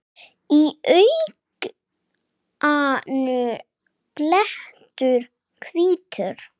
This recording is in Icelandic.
Í auganu blettur hvítur.